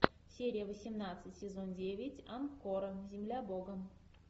серия восемнадцать сезон девять ангкора земля бога